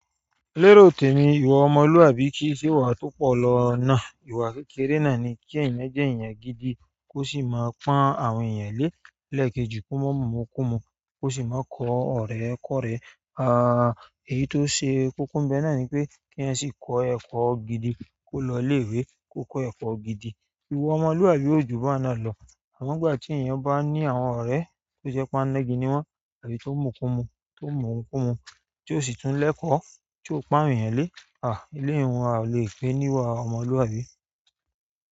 Léròòtè mi ìwà ọmọlúwàbí kì í ṣe ìwà tó pọ̀ lọ náà. Ìwà kékeré náà ni kí èèyàn jẹ́ èèyàn gidi kó sì máa pọ́n àwọn èèyàn lé. Lẹ́ẹ̀kejì kó mọ́ mu ìmukúmu, kó sì mọ́ kọ́ ọ̀rẹ́ kọ́ọ̀rẹ́. À, èyí tó ṣe kókó ńbẹ náà ni pé kí èèyàn sì kọ́ ẹkọ gidi, kó lọ ilé-ìwé, kó kọ́ ẹ̀kọ́ gidi. Ìwà ọmọlúwàbí ò jù bá a náà lọ. Àmọ́ ń gbà tí èèyàn bá ní àwọn ọ̀rẹ́ tó jẹ́ pánígí ni wọ́n àbí tó mùkumu, tó mùmukúmu, tóọ̀ sì tún lẹ́kọ̀ọ́, tí ò pán àwọn èèyàn lé, à, ilé ìhun a lè pé óní ìwà ọmọlúwàbí.